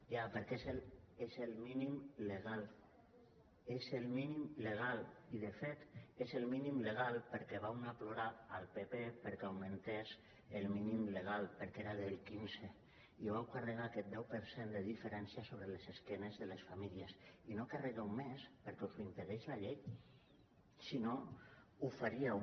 ja perquè és el mínim legal és el mínim legal i de fet és el mínim legal perquè vau anar a plorar al pp perquè augmentés el mínim legal perquè era del quinze i vau carregar aquest deu per cent de diferència sobre l’esquena de les famílies i no carregueu més perquè us ho impedeix la llei si no ho faríeu